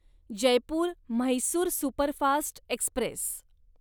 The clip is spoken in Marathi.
Jaipur Mysore superfast Express